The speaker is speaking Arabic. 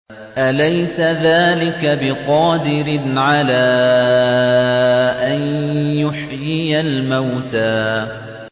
أَلَيْسَ ذَٰلِكَ بِقَادِرٍ عَلَىٰ أَن يُحْيِيَ الْمَوْتَىٰ